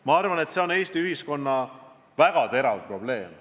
Ma arvan, et see on Eesti ühiskonnas väga terav probleem.